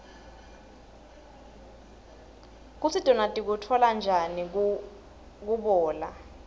kutsi tona tikutfola njani kubla